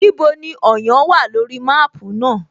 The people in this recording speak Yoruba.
Níbo ni Ọ̀yán wà lórí máàpú náà?